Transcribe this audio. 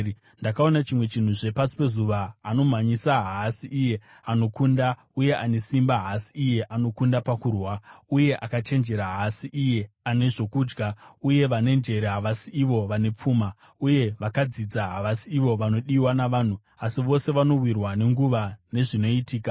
Ndakaona chimwe chinhuzve pasi pezuva: Anomhanyisa haasi iye anokunda uye ane simba haasi iye anokunda pakurwa, uye akachenjera haasi iye ane zvokudya, uye vane njere havasi ivo vane pfuma, uye vakadzidza havasi ivo vanodiwa navanhu; asi vose vanowirwa nenguva nezvinoitika.